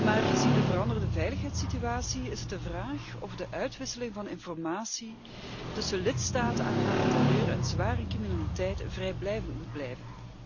Maar gezien de veranderde veiligheidssituatie is het de vraag of de uitwisseling van informatie tussen lidstaten aangaande terreur en zware criminaliteit vrijblijvend moet blijven.